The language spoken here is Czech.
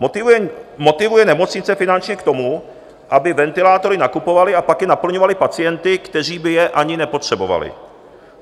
Motivuje nemocnice finančně k tomu, aby ventilátory nakupovaly a pak je naplňovaly pacienty, kteří by je ani nepotřebovali.